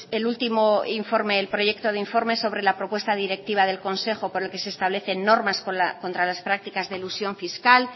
el último informe el proyecto de informe sobre la propuesta directiva del consejo por el que se establecen normas contra las prácticas de elusión fiscal